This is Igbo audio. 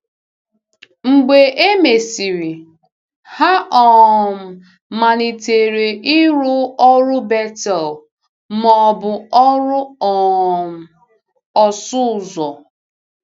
Mgbe e mesịrị, ha um malitere ịrụ ọrụ Betel ma ọ bụ ọrụ um ọsụ ụzọ. ”